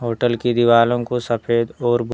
hotel की दिवालों को सफेद और भी--